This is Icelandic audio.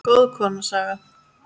Góð kona, Saga.